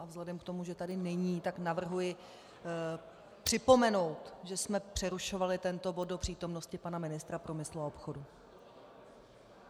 A vzhledem k tomu, že tady není, tak navrhuji připomenout, že jsme přerušovali tento bod do přítomnosti pana ministra průmyslu a obchodu.